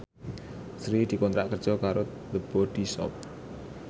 Sri dikontrak kerja karo The Body Shop